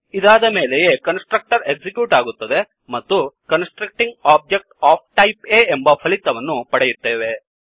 ಇದಾದ ಮೇಲೆಯೇ constructor execute ಆಗುತ್ತದೆ ಮತ್ತುConstructing ಆಬ್ಜೆಕ್ಟ್ ಒಎಫ್ ಟೈಪ್ A ಎಂಬ ಫಲಿತವನ್ನು ಪಡೆಯುತ್ತೇವೆ